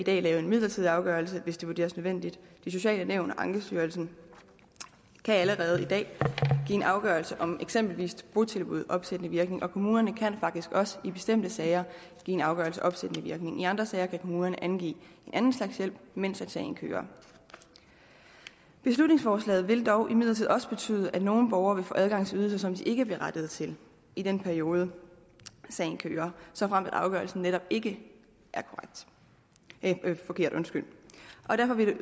dag lave en midlertidig afgørelse hvis det vurderes nødvendigt de sociale nævn og ankestyrelsen kan allerede i dag give en afgørelse om eksempelvis botilbud opsættende virkning og kommunerne kan faktisk også i bestemte sager give en afgørelse opsættende virkning i andre bestemte sager kan kommunerne angive en anden slags hjælp mens sagen kører beslutningsforslaget vil dog imidlertid også betyde at nogle borgere vil få adgang til ydelser som de ikke er berettiget til i den periode sagen kører såfremt afgørelsen netop ikke er forkert og derfor vil